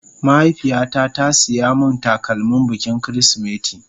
Mahaifiya ta ta siya min takalmin bikin kirisimeti